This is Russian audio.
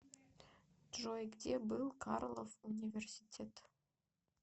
джой где был карлов университет